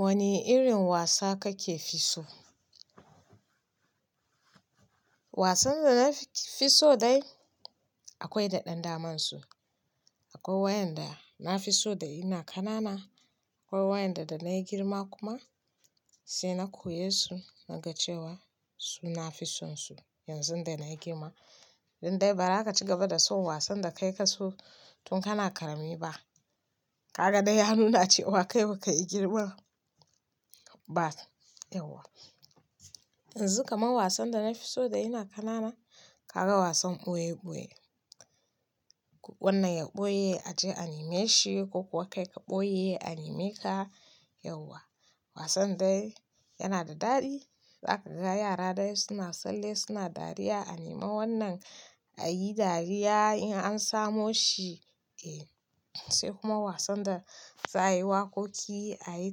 Wani irin wasa kake fi so? Wasan da na fi so dai akwai da ɗan damansu. Akwai waɗanda na fi so da ina ƙanana akwai waɗanda da na yi girma kuma sai na koye su na ga cewa su nafi son su yanzu dana girma. Dai ba zaka ci gaba da son wasan da kai ka so tun kana ƙarami ba. Ka ga dai ya nuna cewa kai ba ka yi girman ba. Yauwa. Yanzu kaman wasan da na fi so da ina ƙanana, ka ga wasan ɓoye ɓoye. Wannan ya ɓoye aje a nema shi ko kuwa kai ka ɓoye a neme ka. Yauwa. Wasan dai yana da daɗi. Za ka ga yara dai suna tsalle suna dariya a nemi wannan a yi dariya in an samo shi. Eh, sai kuma wasan da za a yi waƙoƙi, a yi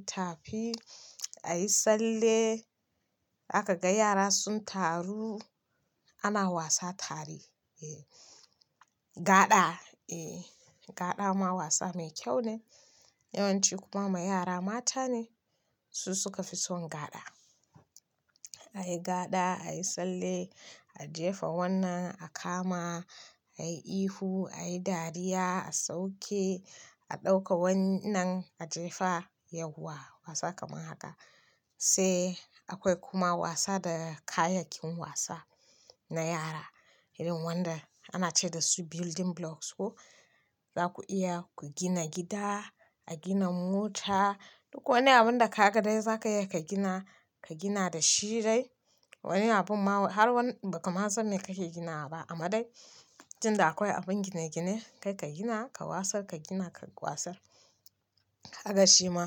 tafi, a yi tsalle. A kaga yara sun taru ana wasa tare. Eh, gaɗa. Eh, gaɗa ma wasa mai kyau ne. Yawanci kuma ma yara mata ne su suka fi son gaɗa. A yi gaɗa, a yi sallah, a jefa wannan, a kama, a yi ihu, a yi dariya, a sauke, a ɗauka wannan, a jefa. Yauwa. Wasa kaman haka. Sai akwai kuma wasa da kayayyakin wasa na yara. Irin wanda ana ce da su building blocks ko. Za ku iya ku gina gida, a gina mota. Duk wani abun da ka ga dai za ka iya ka gina, ka gina da shi dai. Wani abun ma har wani, ba kama san mai kake ginawa ba amma dai, tunda akwai abun gine gine kai ka gina ka wasar, ka gina ka wasar. Kaga shi ma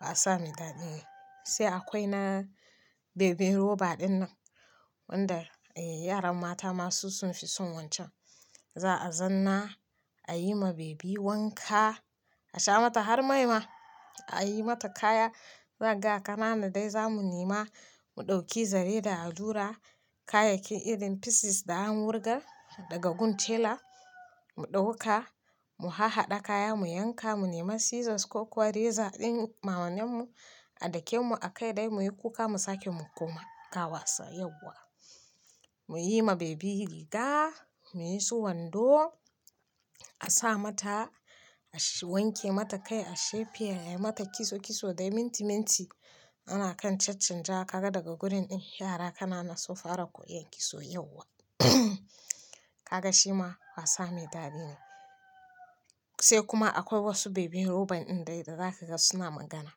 wasa mai daɗi ne. Sai akwai na baby roba ɗinnan, wanda yaran mata ma su sun fi son wancan. Za a zanna a yi ma baby wanka, a sha mata har mai ma, a yi mata kaya. Za ka ga ƙanana dai zamu nema mu ɗauki zare da allura kayayyakin irin pieces da an wurgar daga gun tela mu ɗauka mu hahhaɗa kaya mu yanka mu nema scissors ko kuwa razor ɗin maman mu a dake mu a kai dai muyi kuka mu sake mu koma ka wasa. Yauwa. Mu yi ma baby riga, mu yi su wando, a sa mata, su wanke mata kai, a shape ayi mata kitso kitso dai minti minti. Ana kan chanchanja. Ka ga daga gurin din yara ƙanana sun fara koyon kitso. Yauwa. Kaga shi ma wasa mai daɗi ne. Sai kuma akwai wasu baby robot ɗin dai da za ka ga suna magana.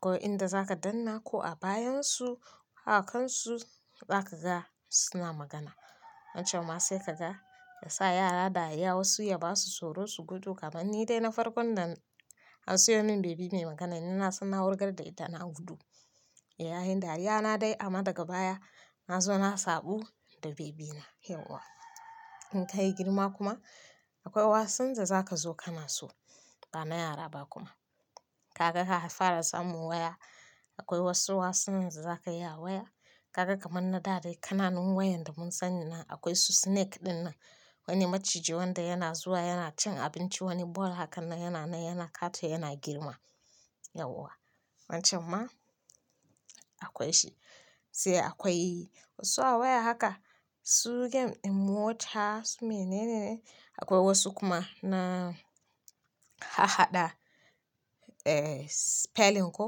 Ko inda za ka danna ko a bayan su ko a kan su za ka ga suna magana. Wancan ma sai ka ga ya sa yara dariya wasu ya ba su tsoro su gudu kaman ni dai na farkon da an siyo min baby mai magana ina suna wurga da ita na gudu. Nayi dariya na dai amma daga baya na zo na saɓu da baby na. Yauwa. In ka yi girma kuma akwai wasan da za ka zo ka na so ba na yara ba kuma. Ka ga ka fara samun waya akwai wasu wasanni da za kayi a waya. Ka ga kaman na da dai ƙananun wayan da mun sani na akwai su snake ɗinnan. Wani maciji wanda yana zuwa yana cin abinci wani ball hakan nan yana na yana kato yana girma. Yauwa. Wancan ma akwai shi. Sai akwai wasu a waya haka su game in mota su me nene akwai wasu kuma na hahaɗa eh spelling ko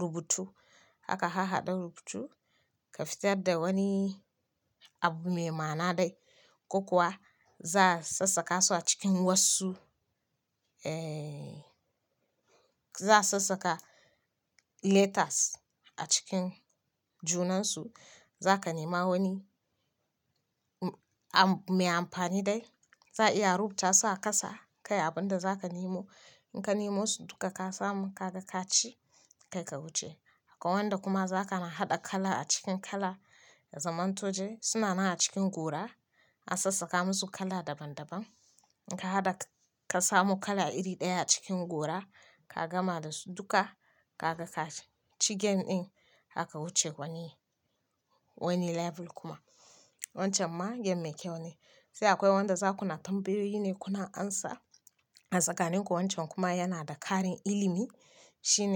rubutu. Haka hahaɗa rubutu ka fitar da wani abu mai ma'ana dai ko kuwa za'a sassaka su a cikin wasu eh za'a sassaka letters a cikin junansu. Za ka nema wani abu mai amfani dai. Za'a iya rubuta su a kasa kai abunda za ka nemo in ka nemo su duka ka samu ka ga ka ci kai ka wuce. Akwai wanda kuma za ka na haɗa kala a cikin kala. Zaman to dai suna nan a cikin gora an sassaka musu kala daban daban. In ka haɗa ka samu kala iri ɗaya a cikin gora ka gama da su duka ka ga ka ci game ɗin haka wuce wani wani level kuma. Wancan ma game mai kyau ne. Sai akwai wanda za ku na tambayoyi ne kuna amsa. Tsakanin ku wancan kuma yana da ƙarin ilimi shine.